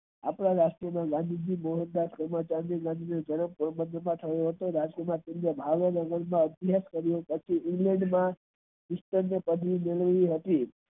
આપડા રાષ્ટ્ર માં ગાંધીરાષ્ટ્ર ના અધયક તરીકે મેળવું હતું.